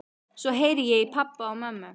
Svo heyri ég í pabba og mömmu.